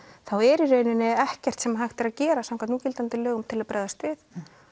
þá er í raun ekkert sem hægt er að gera samkvæmt núgildandi lögum til að bregðast við